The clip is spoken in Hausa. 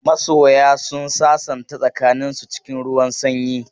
Masoya sun sasanta tsakaninsu cikin ruwan sanyi.